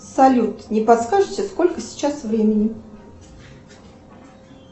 салют не подскажите сколько сейчас времени